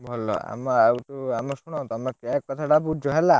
ଭଲ ଆମେ ଆଉଚୁ ଆମେ ଶୁଣ, ତମେ cake କଥା ଟା ବୁଝ ହେଲା।